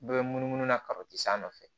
Bɛɛ bɛ munumunu na a nɔfɛ